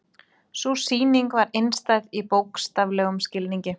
Sú sýning var einstæð í bókstaflegum skilningi.